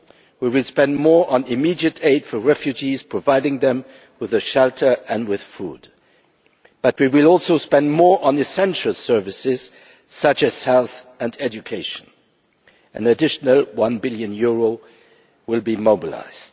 We will spend more on immediate aid for refugees, providing them with shelter and food, and we will also spend more on essential services such as health and education an additional EUR 1 billion will be mobilised.